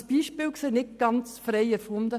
Dieses Beispiel ist nicht ganz frei erfunden.